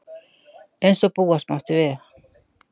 Eins og búast mátti við